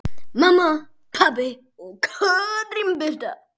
Mamma, pabbi og Katrín Birta.